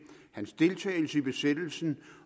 hans deltagelse i besættelsen